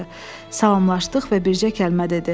Salamlaşdıq və bircə kəlmə dedi.